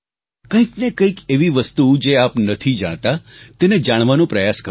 કંઈકને કંઈક એવી વસ્તુ જે આપ નથી જાણતા તેને જાણવાનો પ્રયાસ કરો